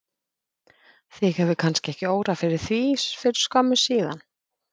Þig hefur kannski ekki órað fyrir því fyrir skömmu síðan?